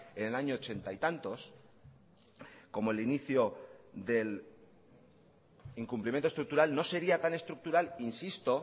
en el año ochenta y tantos como el inicio del incumplimiento estructural no sería tan estructural insisto